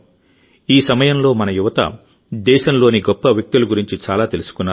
ఈ సమయంలోమన యువత దేశంలోని గొప్ప వ్యక్తుల గురించి చాలా తెలుసుకున్నారు